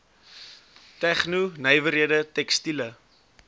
tegno nywerhede tekstiele